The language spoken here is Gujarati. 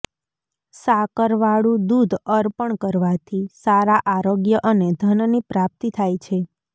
સાકરવાળુ દૂધ અર્પણ કરવાથી સારા આરોગ્ય અને ધનની પ્રાપ્તી થાય છે